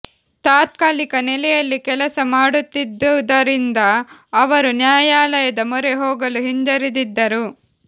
ತಾತ್ಕಾ ಲಿಕ ನೆಲೆಯಲ್ಲಿ ಕೆಲಸ ಮಾಡುತ್ತಿದ್ದುದರಿಂದ ಅವರು ನ್ಯಾಯಾಲಯದ ಮೊರೆ ಹೋಗಲು ಹಿಂಜರಿದಿದ್ದರು